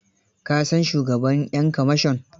Ka san shugaban 'yan kamashon?